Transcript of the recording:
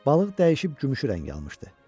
Balıq dəyişib gümüşü rəng almışdı.